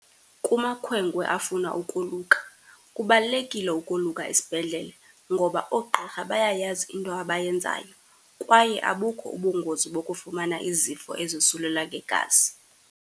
Kumakhwenkwe afuna ukoluka, kubalulekile ukoluka esibhedlele, ngoba oogqirha bayayazi into abayenzayo kwaye abukho ubungozi bokufumana izifo ezosulela ngegazi.